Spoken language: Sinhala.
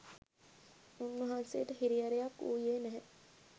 උන්වහන්සේට හිරිහැරයක් වූයේ නැහැ.